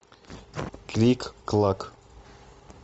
клик клак